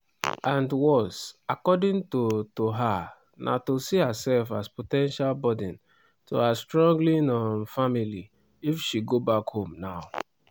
and worse according to to her na to see herself as po ten tial burden to her struggling um family if she go back home now.